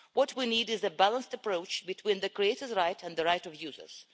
What we need is a balanced approach between the creator's right and the right of users.